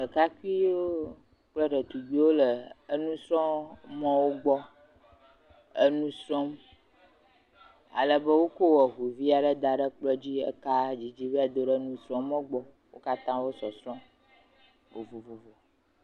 Ɖekakpuiwo kple ɖetugbiwo le enusrɔ̃mɔwo gbɔ enu srɔ̃m ale be wokɔ eŋu vi aɖe da ɖe kplɔ dzi eka didi vae do ɖe enusrɔ̃mɔ gbɔ. Wo katã wo sɔsrɔ̃m vovovo.